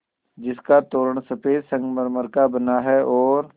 जिसका तोरण सफ़ेद संगमरमर का बना है और